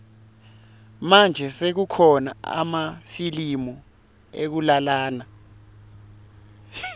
manje sekukhona emafilimu ekulalana